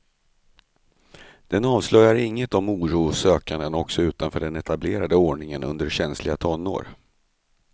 Den avslöjar inget om oro och sökande också utanför den etablerade ordningen under känsliga tonår.